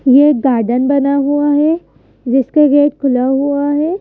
ये गार्डन बना हुआ है जिसका गेट खुला हुआ है।